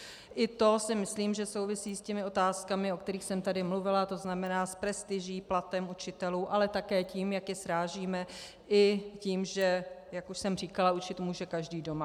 I to si myslím, že souvisí s těmi otázkami, o kterých jsem tady mluvila, to znamená s prestiží, platem učitelů, ale také tím, jak je srážíme, i tím, že jak už jsem říkala, učit může každý doma.